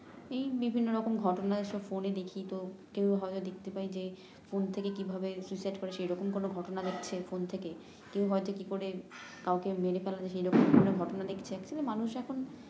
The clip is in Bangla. এই বিভিন্নরকম রকম ঘটনা সব ফোনে দেখি তো কেউ হয়তো দেখতে পাই যে ফোন থেকে কিভাবে করে সেইরকম কোন ঘটনা দেখছে ফোন থেকে কেউ হয়তো কি করে কাউকে মেরে ফেলা যায় সেইরকম কোন ঘটনা দেখছে আসলে মানুষ এখন